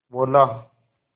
बोला